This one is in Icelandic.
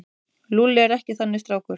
Lúlli er ekki þannig strákur.